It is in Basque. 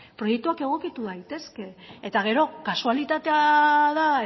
proiektuak egokitu gaitezke eta gero kasualitatea da